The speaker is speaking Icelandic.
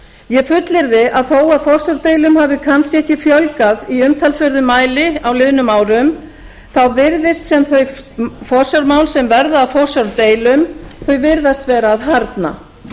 ég fullyrði að þó forsjárdeilum hafi kannski ekki fjölgað í umtalsverðum mæli á liðnum árum þá virðist sem þau forsjármál sem verða að forsjárdeilum þau virðast vera að harðna